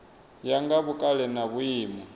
ya nga vhukale na vhuimo